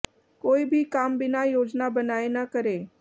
कोई भी काम बिना योजना बनाए न करें